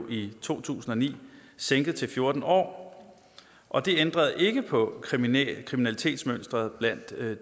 i to tusind og ni sænket til fjorten år og det ændrede ikke på kriminalitetsmønstret blandt